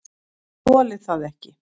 """Ég þoli það ekki,"""